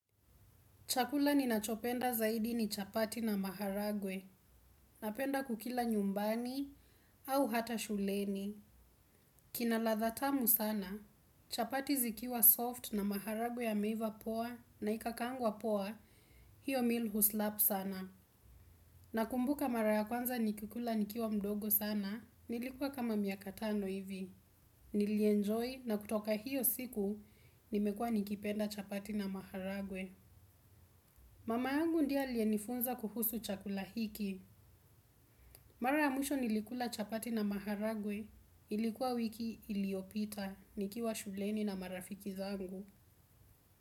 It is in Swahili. Chakula ninachopenda zaidi ni chapati na maharagwe. Napenda kukila nyumbani au hata shuleni. Kinaladha tamu sana. Chapati zikiwa soft na maharagwe yameiva poa na ikakangwa poa. Hiyo mil huslap sana. Nakumbuka mara kwanza nikikula nikiuwa mdogo sana. Nilikuwa kama miakatano hivi. Nilienjoy na kutoka hiyo siku nimekua nikipenda chapati na maharagwe. Mama yangu ndiye alienifunza kuhusu chakulahiki. Mara ya muisho nilikula chapati na maharagwe. Ilikuwa wiki iliopita. Nikiwa shuleni na marafiki zangu.